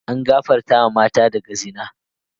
An gafarta matan daga zina.